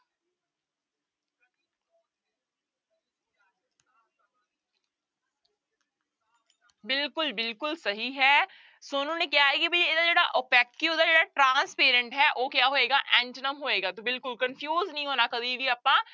ਬਿਲਕੁਲ ਬਿਲਕੁਲ ਸਹੀ ਹੈ ਸੋਨੂੰ ਨੇ ਕਿਹਾ ਹੈ ਕਿ ਵੀ ਇਹਦਾ ਜਿਹੜਾ opaque ਦਾ ਜਿਹੜਾ transparent ਹੈ ਉਹ ਕਿਆ ਹੋਏਗਾ antonym ਹੋਏਗਾ ਤੇ ਬਿਲਕੁਲ confuse ਨੀ ਹੋਣਾ ਕਦੇ ਵੀ ਆਪਾਂ,